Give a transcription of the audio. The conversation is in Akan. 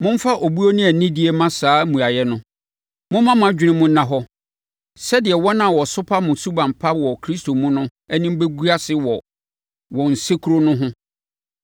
Momfa obuo ne anidie mma saa mmuaeɛ no. Momma mo adwene mu nna hɔ sɛdeɛ wɔn a wɔsopa mo suban pa wɔ Kristo mu no anim bɛgu ase wɔ wɔn nsekuro no ho.